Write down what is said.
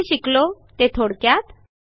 आपण जे शिकलो ते थोडक्यात